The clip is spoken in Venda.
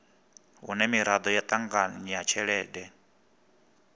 hune miraḓo ya ṱanganya tshelede